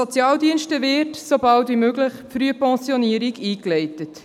Sobald als möglich wird von den Sozialdiensten die Frühpensionierung eingeleitet.